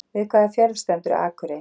Við hvaða fjörð stendur Akurey?